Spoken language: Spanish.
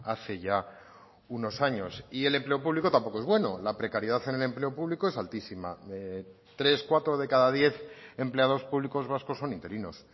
hace ya unos años y el empleo público tampoco es bueno la precariedad en el empleo público es altísima tres cuatro de cada diez empleados públicos vascos son interinos